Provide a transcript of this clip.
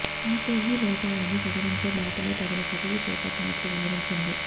అయితే ఈ లోపాలను సవరించే బాటలో తగిన చర్యలు చేపట్టినట్లు వివరించింది